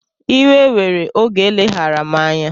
Iwe were oge eleghara m anya